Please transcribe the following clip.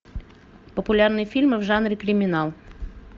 популярные фильмы в жанре криминал